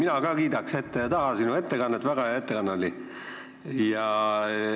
Mina ka kiidaks ette ja taha sinu ettekannet, väga hea ettekanne oli.